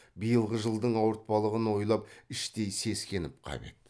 биылғы жылдың ауыртпалығын ойлап іштей сескеніп қап еді